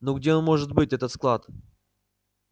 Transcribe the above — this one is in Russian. ну где он может быть этот склад